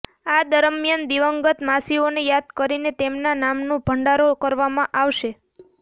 આ દરમ્યાન દિવંગત માસીઓને યાદ કરીને તેમના નામનો ભંડારો કરવામાં આવશે